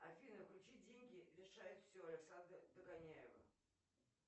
афина включи деньги решают все александра догоняева